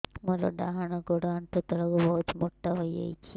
ମୋର ଡାହାଣ ଗୋଡ଼ ଆଣ୍ଠୁ ତଳକୁ ବହୁତ ମୋଟା ହେଇଯାଉଛି